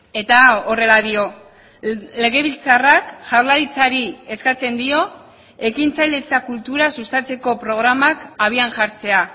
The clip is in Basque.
eta horrela dio legebiltzarrak jaurlaritzari eskatzen dio ekintzailetza kultura sustatzeko programak habian jartzea